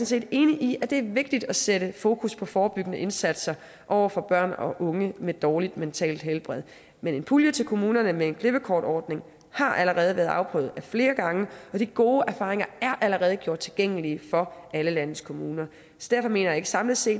set enig i at det er vigtigt at sætte fokus på forebyggende indsatser over for børn og unge med dårligt mentalt helbred men en pulje til kommunerne med en klippekortordning har allerede været afprøvet flere gange og de gode erfaringer er allerede gjort tilgængelige for alle landets kommuner derfor mener jeg samlet set